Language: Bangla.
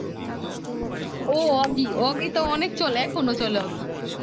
ও ওগি ওগি তো অনেক চলে এখনও চলে ওগি